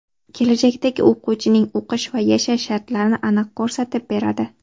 Kelajakdagi o‘quvchining o‘qish va yashash shartlarini aniq ko‘rsatib beradi.